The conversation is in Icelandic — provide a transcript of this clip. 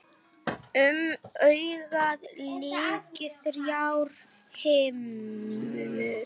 Um augað lykja þrjár himnur.